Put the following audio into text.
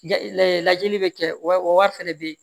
Lajɛli bɛ kɛ wa fɛnɛ be ye